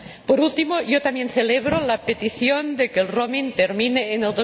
Por último, yo también celebro la petición de que el roaming termine en